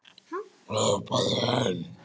Hrópaði einn: